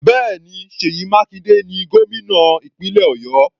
Bẹ́ẹ̀ni, Seyi Makinde ni gómìnà ìpínlẹ̀ Ọ̀yọ́.